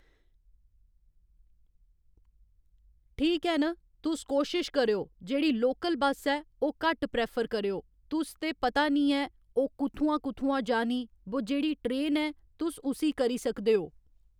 ठीक ऐ न तुस कोशिश करेओ जेह्ड़ी लोकल बस ऐ ओह् घट्ट प्रैफर करेओ तुस ते पता निं ऐ ओह् कुत्थुआं कुत्थुआं जानी बो जेह्ड़ी ट्रेन ऐ तुस उसी करी सकदे ओ